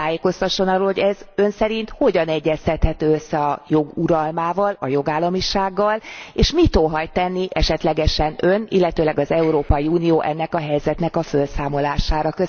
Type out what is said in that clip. Kérem, tájékoztasson arról, hogy ez Ön szerint hogyan egyeztethető össze a jog uralmával, a jogállamisággal, és mit óhajt tenni esetlegesen Ön, illetőleg az Európai Unió ennek a helyzetnek a felszámolására.